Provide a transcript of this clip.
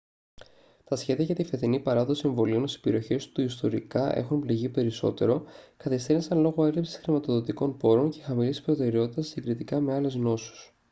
τα σχέδια για τη φετινή παράδοση εμβολίων στις περιοχές που ιστορικά έχουν πληγεί περισσότερο καθυστέρησαν λόγω έλλειψης χρηματοδοτικών πόρων και χαμηλής προτεραιότητας συγκριτικά με άλλες νόσους